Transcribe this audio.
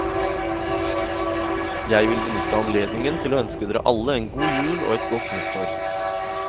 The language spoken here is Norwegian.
Jeg vil benytte anledningen til å ønske dere alle en god jul og et godt nytt år.